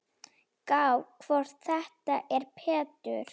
Gá hvort þetta er Pétur.